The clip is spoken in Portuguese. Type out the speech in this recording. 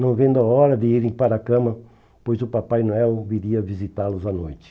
não vendo a hora de irem para a cama, pois o Papai Noel viria visitá-los à noite.